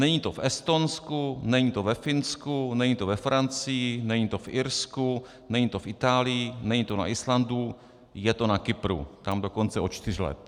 Není to v Estonsku, není to ve Finsku, není to ve Francii, není to v Irsku, není to v Itálii, není to na Islandu, je to na Kypru, tam dokonce od čtyř let.